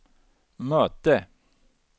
möte